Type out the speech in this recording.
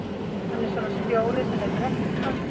Hann er svona stjóri sem lætur ekkert framhjá sér fara.